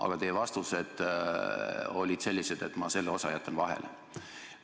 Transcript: Aga teie vastused olid sellised, et ma selle osa jätan vahele.